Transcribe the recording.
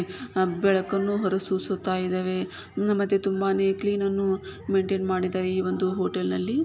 ಹಾ ಬೆಳಕನ್ನು ಹೊರ ಸೂಸುತ್ತಾ ಇದಾವೆ ಆಹ್ ಮತ್ತೆ ತುಂಬಾನೆ ಕ್ಲೀನನ್ನು ಮೈನ್ಟೈನ್ ಮಾಡಿದ್ದಾರೆ ಈ ಒಂದು ಹೋಟೆಲ್ನಲ್ಲಿ --